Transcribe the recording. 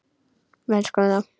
Við elskum þá.